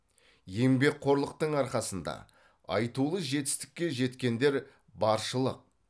еңбекқорлықтың арқасында айтулы жетістікке жеткендер баршылық